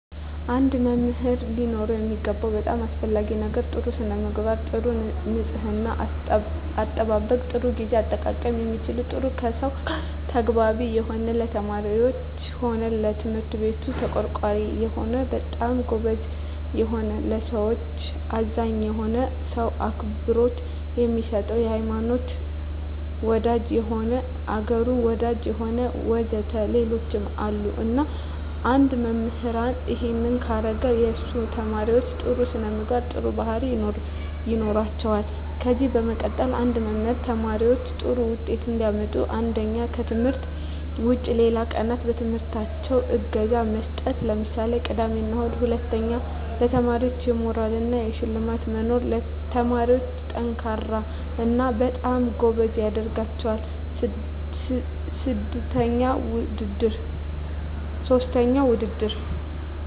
አንድ መምህር ሊኖረው የሚገባው በጣም አሰፈላጊ ነገር ጥሩ ስነምግባር ጥሩ ንጽሕና አጠባበቅ ጥሩ ግዜ አጠቃቀም የሚችል ጥሩ ከሰው ጋር ተግባቢ የሆነ ለተማሪዎች ሆነ ለትምህርት ቤቱ ተቆርቋሪ የሆነ በጣም ጎበዝ የሆነ ለሠዎች አዛኝ የሆነ ሰው አክብሮት የሚሰጥ የሆነ ሀይማኖት ወዳጅ የሆነ አገሩን ወዳጅ የሆነ ወዘተ ሌሎችም አሉ እና አንድ መምህራን እሄን ካረገ የሱ ተመራማሪዎች ጥሩ ስነምግባር ጥሩ ባህሪያት ይኖራቸዋል ከዚ በመቀጠል አንድ መምህር ተማሪዎች ጥሩ ውጤት እንዲያመጡ አንደኛ ከትምህርት ውጭ ሌላ ቀናት በትምህርታቸው እገዛ መስጠት ለምሳሌ ቅዳሜ እሁድ ሁለተኛ ለተማሪዎች የሞራል እና የሽልማት መኖር ተማሪዎች &ጠንካራ እና በጣም ጎበዝ ያደረጋቸዋል ሥስተኛ ውድድር